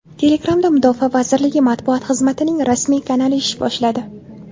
Telegram’da mudofaa vazirligi matbuot xizmatining rasmiy kanali ish boshladi.